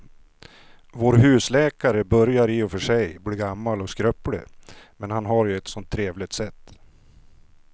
Vår husläkare börjar i och för sig bli gammal och skröplig, men han har ju ett sådant trevligt sätt!